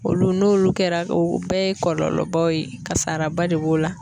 Olu n'olu kɛra, o bɛɛ ye kɔlɔlɔbaw ye kasara ba de b'o la.